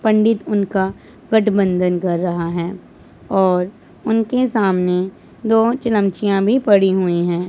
पंडित उनका गठबंधन कर रहा है और उनके सामने दो चिलम चिंयां भी पड़ी हुई हैं।